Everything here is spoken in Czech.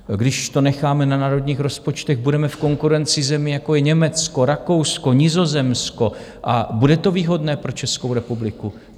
Když to necháme na národních rozpočtech, budeme v konkurenci zemí, jako je Německo, Rakousko, Nizozemsko, a bude to výhodné pro Českou republiku?